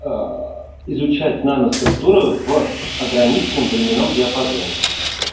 аа изучать наноструктуры в ограниченном временном диапазоне